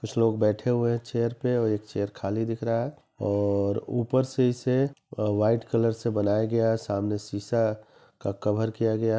कुछ लोग बैठे हुए है चेयर पे और एक चेयर खाली दिख रहा है और ऊपर से इसे वाइट कलर से बनाया गया है सामने शीशा का कवर किया गया है..